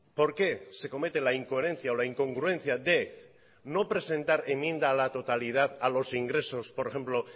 por qué se comete la incoherencia o la incongruencia de no presentar enmienda a la totalidad a los ingresos por ejemplo